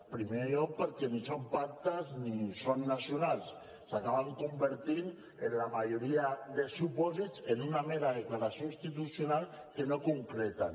en primer lloc perquè ni són pactes ni són nacionals s’acaben convertint en la majoria de supòsits en una mera declaració institucional que no concreten